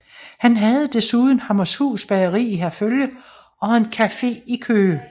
Han havde desuden Hammershus Bageri i Herfølge og en café i Køge